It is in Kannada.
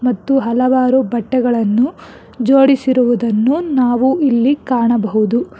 ಮತ್ತು ಹಲವಾರು ಬಟ್ಟೆಗಳನ್ನು ಜೋಡಿಸಿರುವುದನ್ನು ನಾವು ಇಲ್ಲಿ ಕಾಣಬಹುದು.